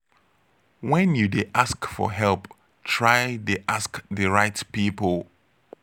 when you de ask for help try de ask the right pipo